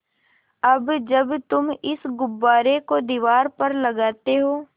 अब जब तुम इस गुब्बारे को दीवार पर लगाते हो